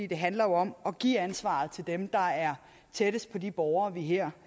det handler jo om at give ansvaret til dem der er tættest på de borgere vi her